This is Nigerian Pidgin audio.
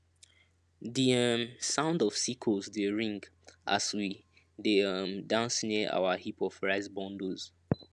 di um sound of sickles dey ring as we dey um dance near our heap of rice bundles